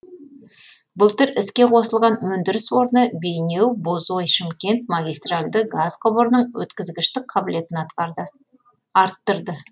былтыр іске қосылған өндіріс орны бейнеу бозой шымкент магистральды газ құбырының өткізгіштік қабілетін арттырды